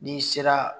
N'i sera